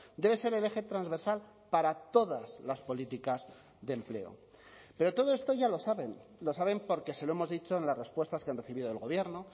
debe ser el eje transversal para todas las políticas de empleo pero todo esto ya lo saben lo saben porque se lo hemos dicho en las respuestas que han recibido del gobierno